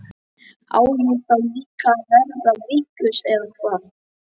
Á ég þá líka að verða vitlaus eða hvað?